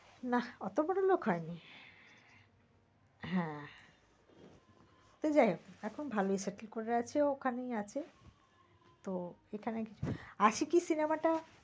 নাহ অত বড়লোক হয়নি। হ্যাঁ সেই যাই হোক এখন ভালই settle করে আছে ওখানেই আছে তো এখানে আশিকি cinema টা